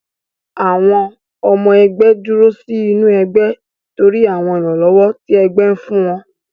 Àwọn ọmọ ẹgbé dúró sí inú ẹgbẹ́ torí àwọn ìrànlọ́wọ́ tí ẹgbẹ́ fún wọn.